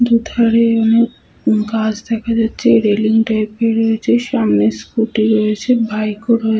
দুধারে অনেক গাছ দেখা যাচ্ছে রেলিং টাইপ - এর রয়েছে । সামনে স্কুটি রয়েছে বাইক ও রয়েছে।